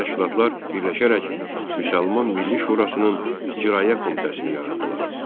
Bu təşkilatlar birləşərək Müsəlman Milli Şurasının İcraiyyə Komitəsini yaratdılar.